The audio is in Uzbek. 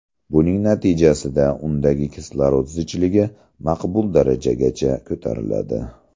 Buning natijasida undagi kislorod zichligi maqbul darajagacha ko‘tariladi.